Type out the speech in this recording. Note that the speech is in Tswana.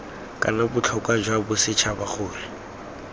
kana botlhokwa jwa bosetšhaba gore